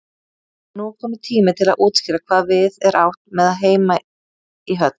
Nú er kominn tími til að útskýra hvað við er átt með heima í höll.